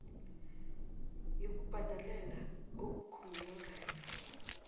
yokubhadela okukhulunywe ngayo